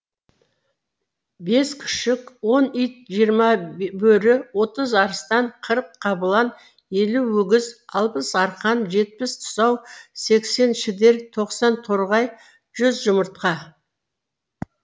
бес күшік он ит жиырма бөрі отыз арыстан қырық қабылан елу өгіз алпыс арқан жетпіс тұсау сексен шідер тоқсан торғай жүз жұмыртқа